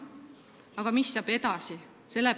Aga mis saab edasi?